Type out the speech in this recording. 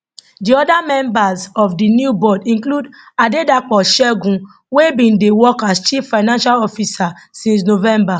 di oda members of di new board include adedapo segun wey bin dey work as chief financial officer since november